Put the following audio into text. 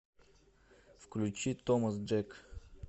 включи томас джек